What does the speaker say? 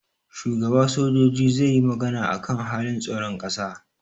shugaba sojoji zai yi magana akan halin tsaron kasa